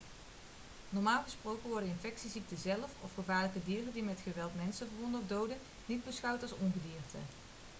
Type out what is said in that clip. normaal gesproken worden infectieziekten zelf of gevaarlijke dieren die met geweld mensen verwonden of doden niet beschouwd als ongedierte